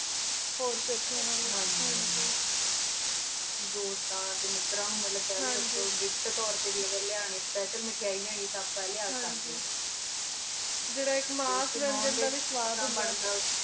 ਹੋਰ ਪਿਥ੍ਯਾ ਨਾਲ ਹਨ ਜੀ ਦੋਸਤਾਂ ਟੀ ਮਿਤਰਾਂ ਨੂੰ ਗਿਫਟ gift ਡੀ ਤੋਰ੍ਟੀ ਲਿੰਯਨ ਪਗੀ ਮਿਥ੍ਯਾਈ ਲ੍ਯੁਨੀ ਟੀ ਆਪਾਂ ਆਯ ਲਿਆ ਸਕ੍ਦ੍ਯਨ ਅੰਨ ਜੀਰਾ ਆਇਕ ਮਾਸ ਲੀਨ ਦਾ ਵੇ ਸਵਾਦ ਉਂਦਾ ਵਾ